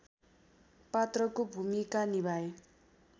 पात्रको भूमिका निभाए